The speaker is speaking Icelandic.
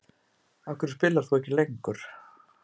Af hverju spilar þú ekki lengur?